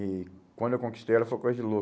E quando eu conquistei ela, foi coisa de